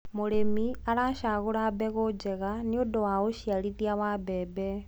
mũrĩmi aracagura mbegũ njega nĩũndũ wa uciarithia wa mbembe